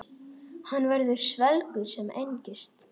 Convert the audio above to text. Hann verður svelgur sem engist.